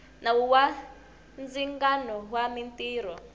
nawu wa ndzingano wa mintirho